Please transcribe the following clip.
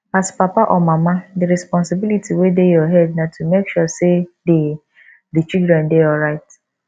as papa or mama di responsibility wey dey your head na to make sure sey di di children dey alright